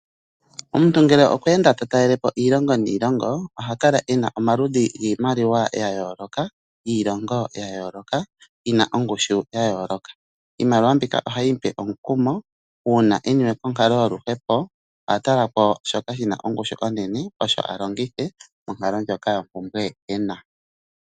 Omuntu ngele okwe enda talaelepo iilongo niilongo oha kala ena omaludhi giimliwa ga yooloka giilongo ya yooloka yina ongushu ya yooloka. ohayi mupe omukumo uuna eniwe konkalo yoluhepo ohatala kwashoka shina ongushu onene osho a longithe monkalo ndyoka yompumbwe ena.